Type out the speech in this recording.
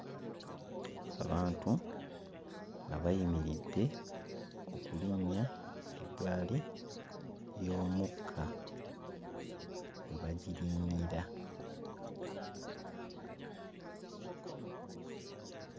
Abantu nga bayimiridde okulinnya eggaali y'omukka we bagirinnyira.